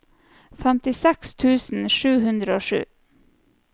femtiseks tusen sju hundre og sju